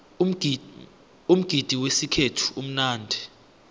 umgidi wesikhethu umnandi